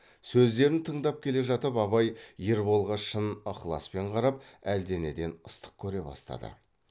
сөздерін тыңдап келе жатып абай ерболға шын ықыласпен қарап әлденеден ыстық көре бастады